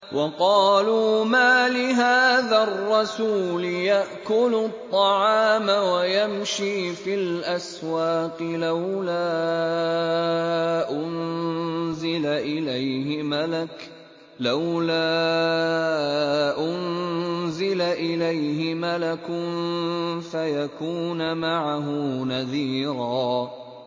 وَقَالُوا مَالِ هَٰذَا الرَّسُولِ يَأْكُلُ الطَّعَامَ وَيَمْشِي فِي الْأَسْوَاقِ ۙ لَوْلَا أُنزِلَ إِلَيْهِ مَلَكٌ فَيَكُونَ مَعَهُ نَذِيرًا